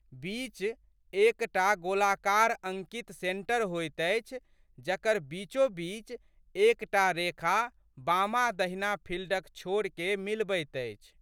बीच एक टा गोलाकार अंकित सेंटर होइत अछि जकर बीचो बीच एक टा रेखा बामादहिना फिल्डक छोरके मिलबैत अछि।